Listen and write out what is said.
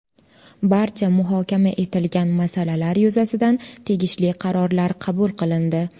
Barcha muhokama etilgan masalalar yuzasidan tegishli qarorlar qabul qilindi.